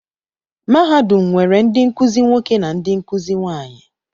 Mahadum nwere ndị nkuzi nwoke na ndị nkuzi nwaanyị.